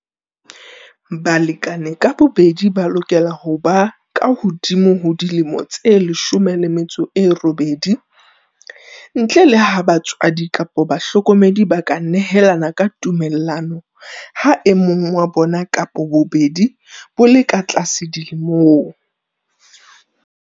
Balekane ka bobedi ba lokela ho ba kahodimo ho dilemo tse 18, ntle le ha batswadi kapa bahlokomedi ba ka nehelana ka tumellano ha e mong wa bona kapa bobedi bo le ka tlase dilemong.